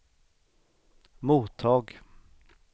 mottag